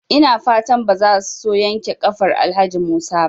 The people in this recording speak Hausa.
Ina fatan bazaso yankewa kafar Alhaji Musa ba?